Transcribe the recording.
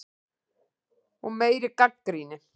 Og meiri gagnrýni.